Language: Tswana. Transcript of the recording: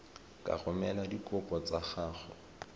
ka romela dikopo tsa gago